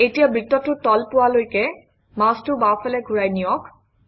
এতিয়া বৃত্তটোৰ তল পোৱালৈকে মাউচটো বাওঁফালে ঘূৰাই নিয়ক